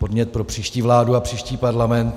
Podnět pro příští vládu a příští parlament.